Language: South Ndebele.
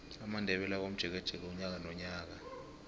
amandebele ayakomjekeje unyaka nonyaka